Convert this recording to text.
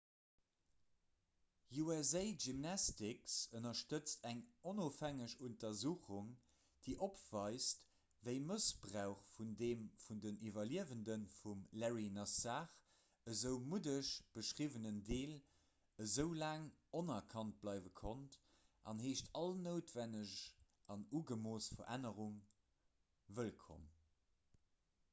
usa gymnastics ënnerstëtzt eng onofhängeg untersuchung déi opweist wéi mëssbrauch vun deem vun de iwwerliewende vum larry nassar esou muddeg beschriwwenen deel esou laang onerkannt bleiwe konnt an heescht all noutwenneg an ugemooss verännerunge wëllkomm